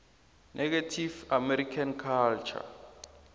native american culture